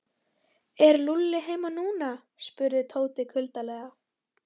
Er Lúlli heima núna? spurði Tóti kuldalega.